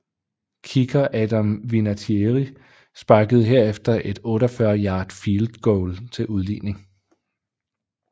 Kicker Adam Vinatieri sparkede herefter et 48 yard field goal til udligning